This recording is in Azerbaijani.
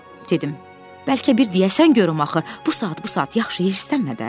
Dedim, bəlkə bir deyəsən görüm axı, bu saat bu saat yaxşı hirslənmə də.